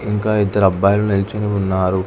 ఇంకా ఇద్దరు అబ్బాయిలు నిల్చొని ఉన్నారు.